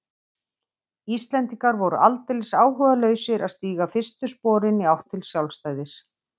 Íslendingar voru aldeilis áhugalausir að stíga fyrstu sporin í átt til sjálfstæðis.